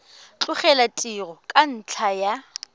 tlogela tiro ka ntlha ya